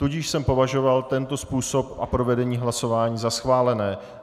Tudíž jsem považoval tento způsob a provedení hlasování za schválené.